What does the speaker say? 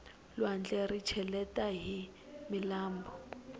lwandle ri cheleta hi milambu